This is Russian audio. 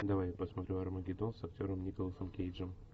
давай я посмотрю армагеддон с актером николасом кейджем